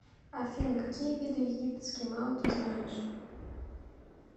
афина какие виды египетский мау ты знаешь